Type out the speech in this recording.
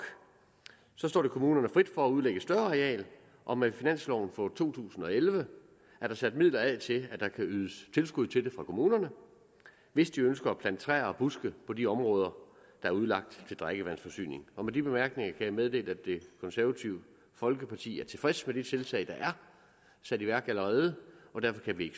står det kommunerne frit for at udlægge et større areal og med finansloven for to tusind og elleve er der sat midler af til at der kan ydes tilskud til kommunerne hvis de ønsker at plante træer og buske på de områder der er udlagt til drikkevandsforsyning med de bemærkninger jeg meddele at det konservative folkeparti er tilfreds med de tiltag der er sat i værk allerede og derfor kan vi